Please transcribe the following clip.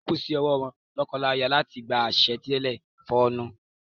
O kú sí owó lọ́kọláya láti gbá àṣà títẹ fóònù pìnkìnpìnkìn nínú mọ̀lẹ́bí wọn lọ́jọ́ ọ̀la.